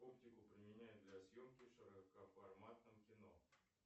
оптику применяют для съемки в широкоформатном кино